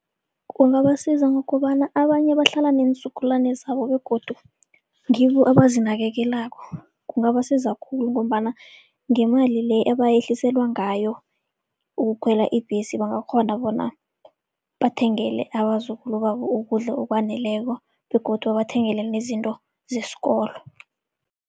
Kungabasiza ngokobana abanye bahlala neenzukulwani zabo begodu ngibo abazinakekelako. Kungabasiza khulu ngombana ngemali le ebayehliselwa ngayo ukukhwela ibhesi bangakghona bona bathengele abazukulu babo ukudla okwaneleko begodu babathengele nezinto zesikolo.